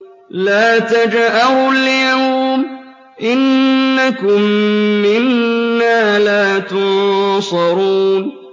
لَا تَجْأَرُوا الْيَوْمَ ۖ إِنَّكُم مِّنَّا لَا تُنصَرُونَ